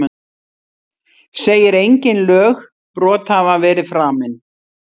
Segir engin lögbrot hafa verið framin